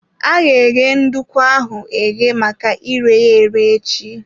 Aga eghe nduku ahụ eghe maka ire ya ere echi.